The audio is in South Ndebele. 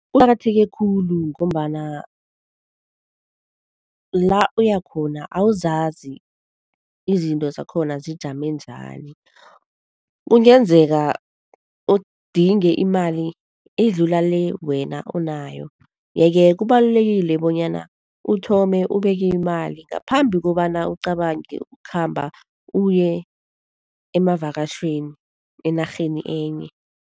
Kuqakatheke khulu ngombana la uyakhona awuzazi izinto zakhona zijame njani? Kungenzeka udinge imali edlula le wena onayo yeke kubalulekile bonyana uthome ubeke imali ngaphambi kobana ucabange ukukhamba uye emavakatjhweni, enarheni enye.